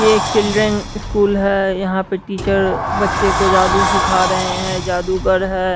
ये एक children school है यहां पे टीचर बच्चे को जादू सीख रहे हैं जादूगर है।